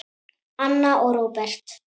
Anna og Róbert.